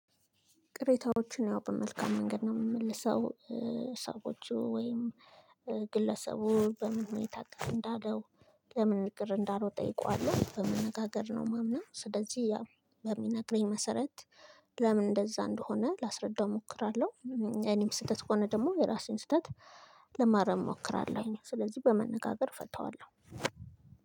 ቅሬታዎችን ያው በመልካም መንገድ ነው የምመልሰው። ሰዎቹ ወይም ግለሰቡ በመሆኑ ቅሬታ እንዳለው ለምን ቅር እንዳለው ጠይቀዋለሁ በመነጋገር ነው ማምነው። ስለዚህ ያ በሚነግረኝ መሰረት ለምን እንደዛ እንደሆነ ላስረዳው እሞክራለሁ። እኔም ስህተት ከሆነ ደግሞ የራሴን ስህተት ለማረም እሞክራለሁኝ። ስለዚህ በመነጋገር እፈታዋለሁ።